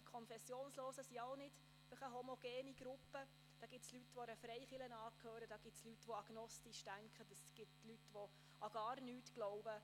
Sie sind keine homogene Gruppe – da gibt es Leute, die einer Freikirche angehören, Leute, die agnostisch denken, und Leute, die an gar nichts glauben.